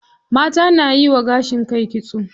Mata nayiwa gashin kai kitso.